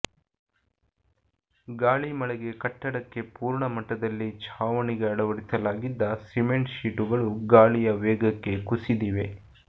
ಗಾಳಿ ಮಳೆಗೆ ಕಟ್ಟಡಕ್ಕೆ ಪೂರ್ಣ ಮಟ್ಟದಲ್ಲಿ ಛಾವಣಿಗೆ ಅಳವಡಿಸಲಾಗಿದ್ದ ಸಿಮೆಂಟ್ ಶೀಟುಗಳು ಗಾಳಿಯ ವೇಗಕ್ಕೆ ಕುಸಿದಿದೆ